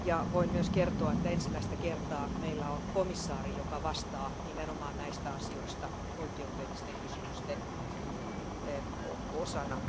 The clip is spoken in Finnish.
Voin myös kertoa, että ensimmäistä kertaa meillä on komissaari, joka vastaa nimenomaan näistä asioista oikeudellisten kysymysten osana.